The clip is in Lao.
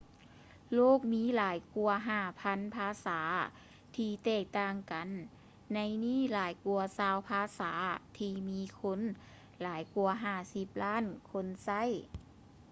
ໂລກມີຫລາຍກວ່າ 5,000 ພາສາທີ່ແຕກຕ່າງກັນ ໃນນີ້ຫຼາຍກວ່າຊາວ ພາສາທີ່ມີຄົນຫຼາຍກວ່າ 50 ລ້ານຄົນໃຊ້